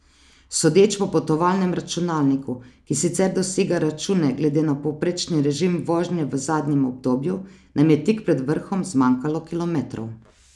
Sodeč po potovalnem računalniku, ki sicer doseg računa glede na povprečni režim vožnje v zadnjem obdobju, nam je tik pred vrhom zmanjkalo kilometrov.